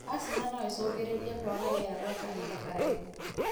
Asthma noĩcungĩrĩrĩrie kwaga riera gwa kahinda karaihu.